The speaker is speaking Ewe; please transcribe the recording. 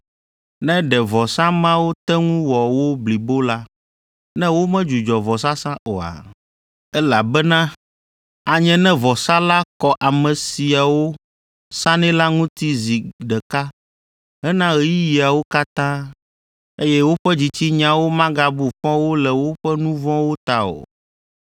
Ne ɖe vɔsa mawo te ŋu wɔ wo blibo la, ne womedzudzɔ vɔsasa oa? Elabena anye ne vɔsa la kɔ ame siwo sanɛ la ŋuti zi ɖeka hena ɣeyiɣiawo katã, eye woƒe dzitsinyawo magabu fɔ wo le woƒe nu vɔ̃wo ta o.